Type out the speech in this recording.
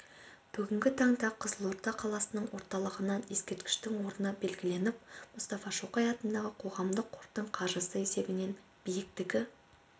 бүгінгі таңда қызылорда қаласының орталығынан ескерткіштің орны белгіленіп мұстафа шоқай атындағы қоғамдық қордың қаржысы есебінен биіктігі